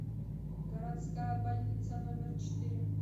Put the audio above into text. городская больница номер четыре